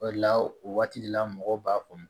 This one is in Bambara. O de la o waati de la mɔgɔw b'a ko